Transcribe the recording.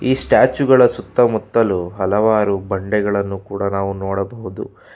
ಈ ಸ್ಟ್ಯಾಚು ಗಳ ಸುತ್ತ ಮುತ್ತಲು ಹಲವಾರು ಬಂಡೆಗಳನ್ನು ಕೂಡ ನಾವು ನೋಡಬಹುದು.